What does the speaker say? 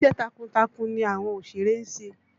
Iṣẹ́ takuntakun ni àwọn òṣèré ń ṣe